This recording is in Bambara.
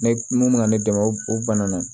Ne mun bɛ ka ne dɛmɛ o bana na